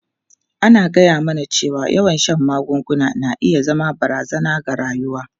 An gaya mana cewa yawan shan magunguna na iya zama barazana ga rayuwa.